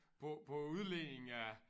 På på æ udledning af